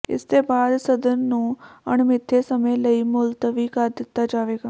ਇਸਦੇ ਬਾਅਦ ਸਦਨ ਨੂੰ ਅਣਮਿੱਥੇ ਸਮੇਂ ਲਈ ਮੁਲਤਵੀ ਕਰ ਦਿੱਤਾ ਜਾਵੇਗਾ